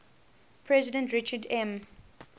president richard m